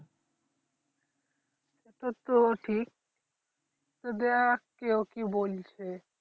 তা তো ঠিক দেখ কে কি বলছে